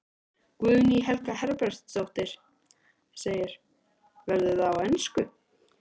Guðný Helga Herbertsdóttir: Verður það á ensku?